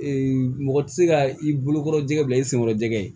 mɔgɔ tɛ se ka i bolo kɔrɔ jɛgɛ bila i senkɔrɔ jɛgɛ ye